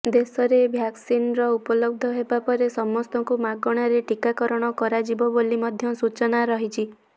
ଦେଶରେ ଭ୍ୟାକ୍ସିନରର ଉପଲବ୍ଧ ହେବା ପରେ ସମସ୍ତଙ୍କୁ ମାଗଣାରେ ଟୀକାକରଣ କରାଯିବ ବୋଲି ମଧ୍ୟ ସୂଚନା ରହିଛି